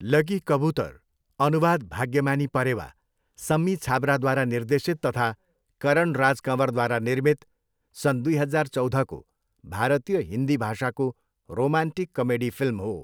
Lucky Kabootar, अनुवाद भाग्यमानी परेवा, सम्मी छाबराद्वारा निर्देशित तथा करण राज कँवरद्वारा निर्मित सन् दुई हजार चौधको भारतीय हिन्दी भाषाको रोमान्टिक कमेडी फिल्म हो।